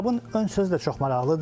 Kitabın ön sözü də çox maraqlıdır.